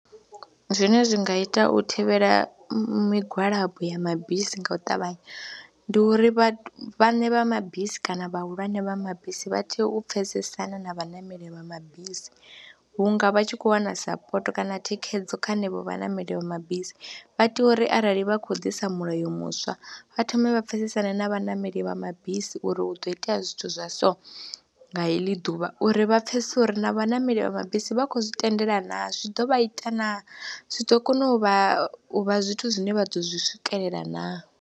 Zwine zwi nga ita u thivhela migwalabo ya mabisi nga u ṱavhanya ndi uri vhaṋe vha mabisi kana vhahulwane vha mabisi vha tea u pfhesesana na vhaṋameli vha mabisi vhunga vha tshi khou wana sapoto kana thikhedzo kha henevho vhaṋameli vha mabisi. Vha tea uri arali vha khou ḓisa mulayo muswa vha thome vha pfhesesane na vhaṋameli vha mabisi uri hu ḓo itea zwithu zwi zwa so, nga heḽi ḓuvha uri vha pfhesese uri na vhaṋameli vha mabisi vha khou zwi tendela naw. Zwi ḓo vha ita na zwi ḓo kona u vha u vha zwithu zwine vha ḓo zwi swikelela naa.